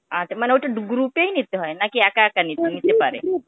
আচ্ছা, মানে ওটা গ্রু~ group এই নিতে হয় নাকি একা একা নিতে নিতে পারে ?